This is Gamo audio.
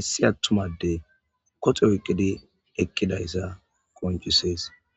issi attumade koxe oyqqidi ekkidayssa qoncisees